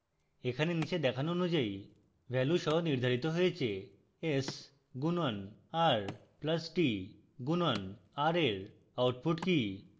এগুলি নীচে দেখানো অনুযায়ী ভ্যালু সহ নির্ধারিত হয়েছে s গুণন r plus t গুণন r এর output they